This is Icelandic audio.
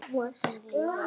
Hún lifir áfram í okkur.